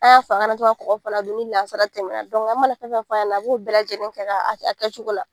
An y'a fɔ a kana to ka kɔkɔ fana dun ni lansara tɛmɛnna dɔnku an mana fɛn o fɛn fɔ a ɲɛna, an b'o bɛɛ lajɛlen kɛ a kɛ cogo la.